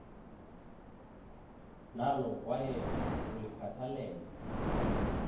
nalo kwaye ulikhathalele